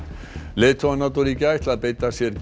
leiðtogar NATO ríkja ætla að beita sér